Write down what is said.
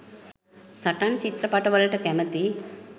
සටන් චිත්‍රපට වලට කැමති